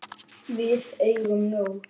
Við eigum nóg.